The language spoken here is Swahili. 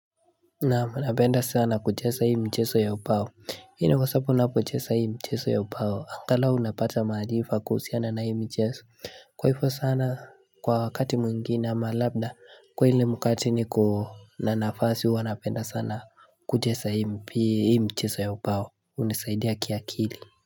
Naam napenda sana kuchesa hii mcheso ya ubao. Hii ni kwa sapu napochesa hii mcheso ya upao. Angalau napata maarifa kuhusiana na hii mcheso. Kwa hifo sana kwa wakati mwingine ama labda. Kwa hile mukati niko na nafasi huwa napenda sana kuchesa hii mcheso ya ubao. Unisaidia kiakili.